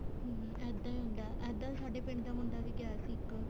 ਹਮ ਇੱਦਾਂ ਈ ਹੁੰਦਾ ਇੱਦਾਂ ਈ ਸਾਡਾ ਪਿੰਡ ਦਾ ਮੁੰਡਾ ਵੀ ਗਿਆ ਸੀ ਇੱਕ